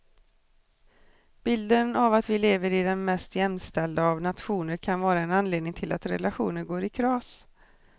Bilden av att vi lever i den mest jämställda av nationer kan vara en anledning till att relationer går i kras.